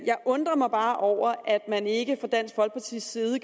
jeg undrer mig bare over at man ikke fra dansk folkepartis side